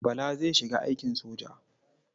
Bala zai shiga aikin soja.